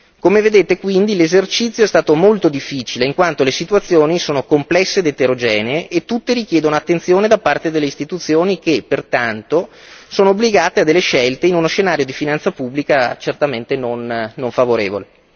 Come vedete quindi l'esercizio è stato molto difficile, in quanto le situazioni sono complesse ed eterogenee e tutte richiedono attenzione da parte delle Istituzioni, che pertanto sono obbligate a delle scelte in uno scenario di finanza pubblica certamente non favorevole.